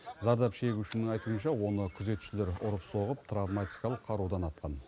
зардап шегушінің айтуынша оны күзетшілер ұрып соғып травматикалық қарудан атқан